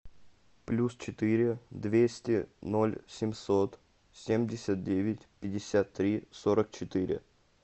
плюс четыре двести ноль семьсот семьдесят девять пятьдесят три сорок четыре